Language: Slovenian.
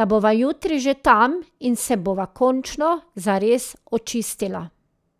da bova jutri že tam in se bova končno zares očistila.